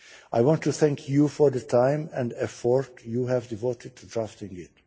I want to thank you for the time and effort you have devoted to drafting